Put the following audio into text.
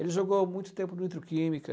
Ele jogou muito tempo no Nitroquímica.